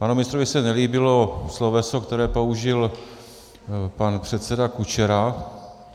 Panu ministrovi se nelíbilo sloveso, které použil pan předseda Kučera.